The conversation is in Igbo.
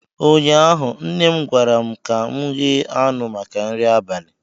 ụnyaahụ nne m gwara m ka m ghe anụ maka nri abalị